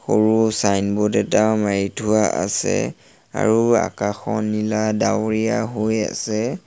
সৰু চাইনব'ৰ্ড এটাও মাৰি থোৱা আছে আৰু আকাশখন নীলা ডাৱৰীয়া হৈ আছে।